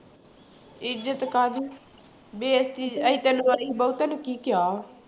ਇੱਜਤ ਕਾਹਦੀ, ਬੇਇਜਤੀ ਅਸੀਂ ਤੈਨੂੰ sorry ਬਹੂ ਤੈਨੂੰ ਕੀ ਕਿਹਾ